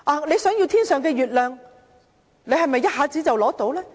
你想要天上的月亮，是否一下子便能拿取？